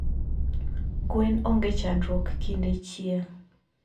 gwen ongechandruok kinde chieng